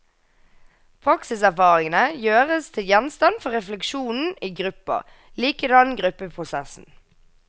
Praksiserfaringene gjøres til gjenstand for refleksjon i gruppa, likedan gruppeprosessen.